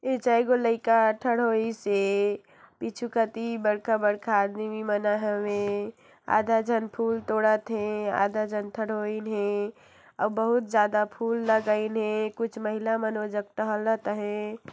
लईका होइसे पिछु कती बड़का-बड़का आदमीमी मनन हवे आधा झन फुल तोडत हे आधा झन थढोईन हे अउ बहुत ज्यादा फुल लगाईंन हे कुछ महिला मन वो जगह टहलत हे।